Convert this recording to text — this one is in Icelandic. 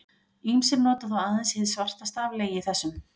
Ýmsir nota þó aðeins hið svartasta af legi þessum.